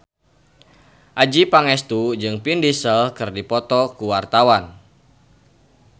Adjie Pangestu jeung Vin Diesel keur dipoto ku wartawan